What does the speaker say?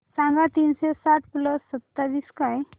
सांगा तीनशे आठ प्लस सत्तावीस काय